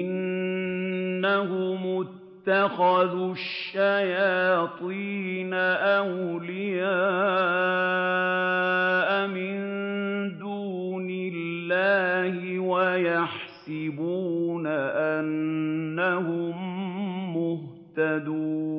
إِنَّهُمُ اتَّخَذُوا الشَّيَاطِينَ أَوْلِيَاءَ مِن دُونِ اللَّهِ وَيَحْسَبُونَ أَنَّهُم مُّهْتَدُونَ